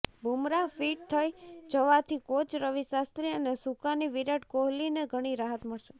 Bumrah fit થઈ જવાથી coach Ravi Shastri અને સુકાની વિરાટ કોહલીને ઘણી રાહત મળશે